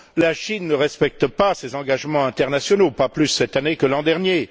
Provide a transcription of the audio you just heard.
La Chine ne respecte pas ses engagements internationaux, pas plus cette année que l'an dernier.